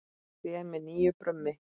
Tré með nýju brumi.